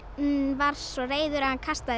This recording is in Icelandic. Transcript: var svo reiður að hann kastaði